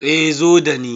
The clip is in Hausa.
Eh, zo da ni.